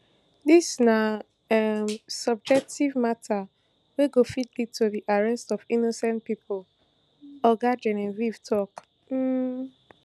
dis na um subjective mata wey go fit lead to di arrest of innocent pipo oga genevieve tok um